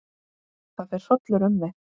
Það fer hrollur um mig.